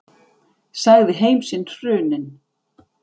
Sagði heim sinn hruninn.